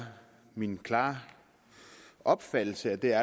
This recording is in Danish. min klare opfattelse at der